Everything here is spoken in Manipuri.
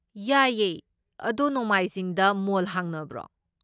ꯌꯥꯏꯌꯦ, ꯑꯗꯣ ꯅꯣꯡꯃꯥꯏꯖꯤꯡꯗ ꯃꯣꯜ ꯍꯥꯡꯅꯕ꯭ꯔꯣ?